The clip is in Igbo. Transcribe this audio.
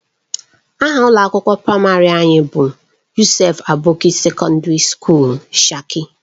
Aha ụlọ akwụkwọ praịmarị anyị bụ Yusuf Aboki Sekọndiri Sukuul Shika.